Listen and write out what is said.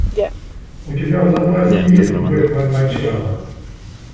у тебя в запасе есть бэтмен начало